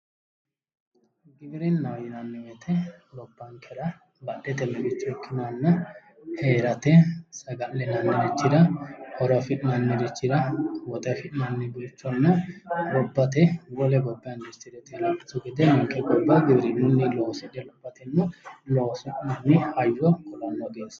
Giwirinahho yinanni woyite gobbanikera badhete miqichooti ikkinohonna heerate saga'linannirichira horo afi'nirichira woxe afi'nani richonna gobbate wole gobba indusitirete ledo ninke gobba indusitirete ledo xaade loosi'nanni hayyo industrete yinanni